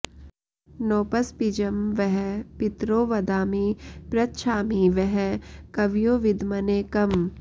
नोपस्पिजं वः पितरो वदामि पृच्छामि वः कवयो विद्मने कम्